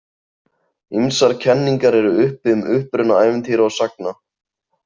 Ýmsar kenningar eru uppi um uppruna ævintýra og sagna.